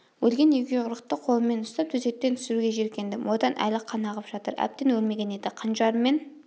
өлген егеуқұйрықты қолыммен ұстап төсектен түсіруге жеркендім одан әлі қан ағып жатыр әбден өлмеген еді қанжарыммен